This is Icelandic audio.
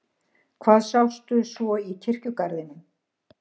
Hvað sástu svo í kirkjugarðinum?